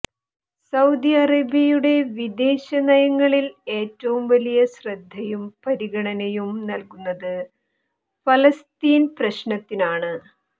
Saudi അറേബ്യയുടെ വിദേശ നയങ്ങളിൽ ഏറ്റവും വലിയ ശ്രദ്ധയും പരിഗണനയും നൽകുന്നത് ഫലസ്തീൻ പ്രശ്നത്തിനാണ്